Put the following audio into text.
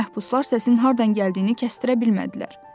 Məhbuslar səsin hardan gəldiyini kəsdirə bilmədilər.